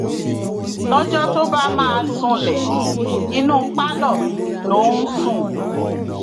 lọjọ tó bá máa súnlẹ inú pálọ ló ń sùn